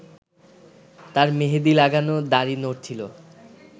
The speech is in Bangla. তাঁর মেহেদি লাগানো দাড়ি নড়ছিল